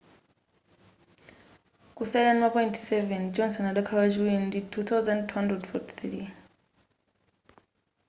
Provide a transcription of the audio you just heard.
kusalira ndima point 7 johnson adakhala wachiri ndi 2,243